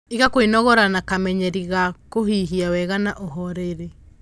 Ika kwinogora na kamenyeri ga kuhihia wega na uhoreri